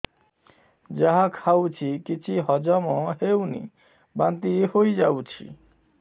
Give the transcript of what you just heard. ଯାହା ଖାଉଛି କିଛି ହଜମ ହେଉନି ବାନ୍ତି ହୋଇଯାଉଛି